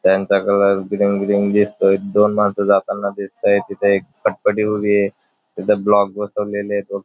त्यानंतर colour green green दिसतोय दोन माणस जाताना दिसताय तिथे एक फटफटी उभीय तिथ ब्लॉक बसवलेलेत व --